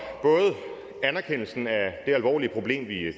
anerkendelsen af det alvorlige problem